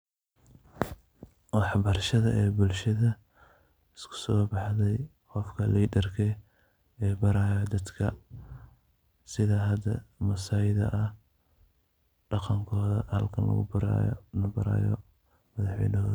Waxbarashada ee bulshada, isku so baxday Qoofka leader darka ee pareyvafka setha hada massayka ah daqankotha halkan lo barayoo madaxweeynahot.